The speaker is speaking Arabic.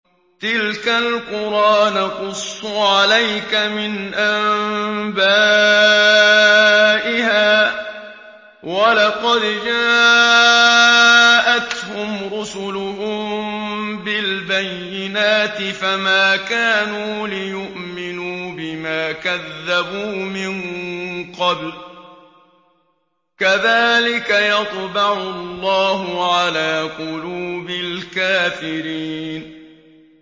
تِلْكَ الْقُرَىٰ نَقُصُّ عَلَيْكَ مِنْ أَنبَائِهَا ۚ وَلَقَدْ جَاءَتْهُمْ رُسُلُهُم بِالْبَيِّنَاتِ فَمَا كَانُوا لِيُؤْمِنُوا بِمَا كَذَّبُوا مِن قَبْلُ ۚ كَذَٰلِكَ يَطْبَعُ اللَّهُ عَلَىٰ قُلُوبِ الْكَافِرِينَ